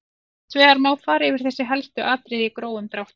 Hins vegar má fara yfir þessi helstu atriði í grófum dráttum.